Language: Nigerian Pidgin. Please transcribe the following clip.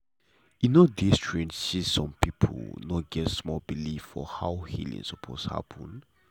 e no dey strange say some people no get same belief for how healing suppose happen.